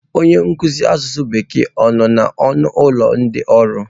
Onye nkuzi asụsụ Bekee ọ nọ n'ọnụ ụlọ ndị ọrụ?